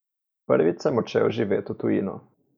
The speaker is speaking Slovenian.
Prvič sem odšel živet v tujino.